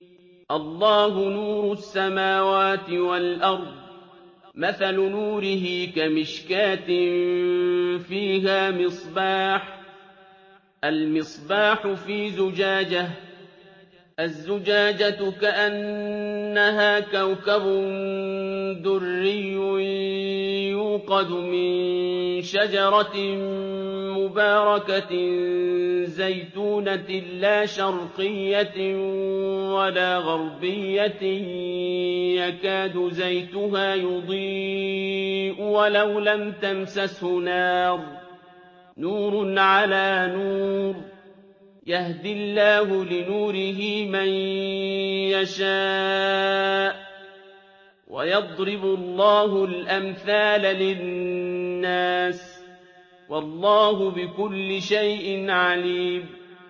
۞ اللَّهُ نُورُ السَّمَاوَاتِ وَالْأَرْضِ ۚ مَثَلُ نُورِهِ كَمِشْكَاةٍ فِيهَا مِصْبَاحٌ ۖ الْمِصْبَاحُ فِي زُجَاجَةٍ ۖ الزُّجَاجَةُ كَأَنَّهَا كَوْكَبٌ دُرِّيٌّ يُوقَدُ مِن شَجَرَةٍ مُّبَارَكَةٍ زَيْتُونَةٍ لَّا شَرْقِيَّةٍ وَلَا غَرْبِيَّةٍ يَكَادُ زَيْتُهَا يُضِيءُ وَلَوْ لَمْ تَمْسَسْهُ نَارٌ ۚ نُّورٌ عَلَىٰ نُورٍ ۗ يَهْدِي اللَّهُ لِنُورِهِ مَن يَشَاءُ ۚ وَيَضْرِبُ اللَّهُ الْأَمْثَالَ لِلنَّاسِ ۗ وَاللَّهُ بِكُلِّ شَيْءٍ عَلِيمٌ